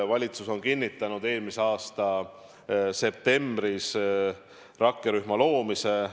Valitsus kinnitas eelmise aasta septembris rakkerühma loomise.